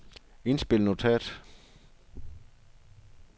indspil notat